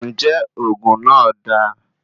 Njẹ oògùn náà dáa?